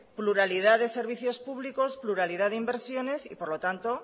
pluralidad de servicios públicos pluralidad de inversiones y por lo tanto